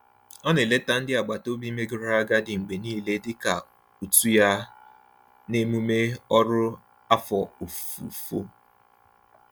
Ọ na-eleta ndị agbataobi megoro agadi mgbe niile dị ka utu ya n'emume ọrụ afọ ofufo.